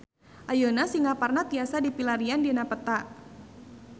Ayeuna Singaparna tiasa dipilarian dina peta